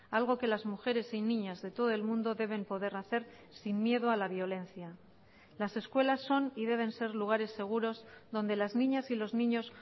algo que las mujeres y niñas de todo el mundo deben poder hacer sin miedo a la violencia las escuelas son y deben ser lugares seguros donde las niñas y los niños